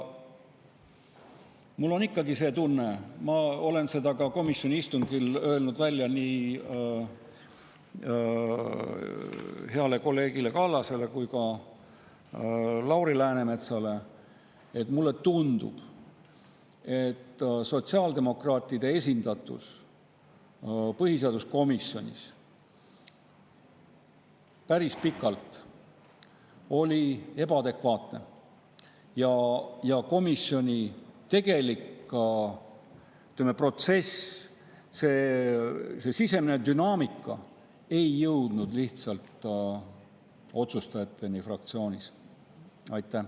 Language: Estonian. Mul on ikkagi see tunne, ma olen seda ka komisjoni istungil öelnud nii heale kolleegile Kallasele kui ka Lauri Läänemetsale, et sotsiaaldemokraatide esindatus põhiseaduskomisjonis oli päris pikalt ebaadekvaatne, ja komisjoni tegelik, ütleme, protsess, see sisemine dünaamika ei jõudnud lihtsalt otsustajateni fraktsioonis.